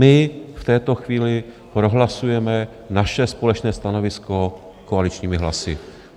My v této chvíli prohlasujeme naše společné stanovisko koaličními hlasy.